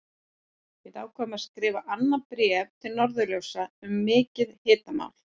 Við ákváðum að skrifa annað bréf til Norðurljósa um mikið hitamál!